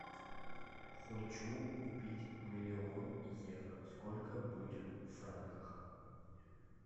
хочу купить миллион евро сколько будет в франках